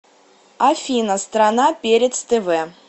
афина страна перец тв